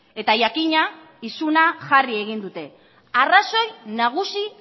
eta jakina isuna jarri egin dute arrazoi nagusi